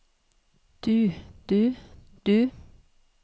du du du